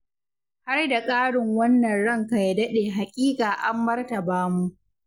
Har da ƙarin wannan ranka ya daɗe haƙiƙa an martaba mu.